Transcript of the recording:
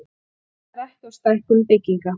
Kallar ekki á stækkun bygginga